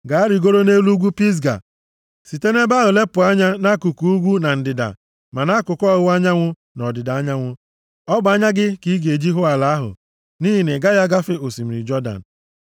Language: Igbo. Gaa, rigoruo nʼelu ugwu Pisga, site nʼebe ahụ lepụ anya nʼakụkụ ugwu na ndịda ma nʼakụkụ ọwụwa anyanwụ na ọdịda anyanwụ. Ọ bụ anya gị ka ị ga-eji hụ ala ahụ, nʼihi na ị gaghị agafe osimiri Jọdan.